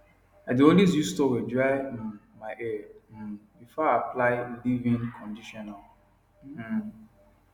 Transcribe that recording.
i dae always use toweldry um my hair um before i apply leavein conditioner um